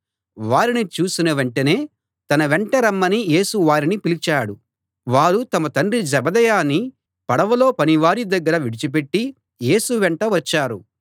వారిని చూసిన వెంటనే తన వెంట రమ్మని యేసు వారిని పిలిచాడు వారు తమ తండ్రి జెబెదయిని పడవలో పనివారి దగ్గర విడిచిపెట్టి యేసు వెంట వచ్చారు